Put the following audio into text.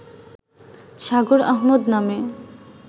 সাগর আহমদ নামে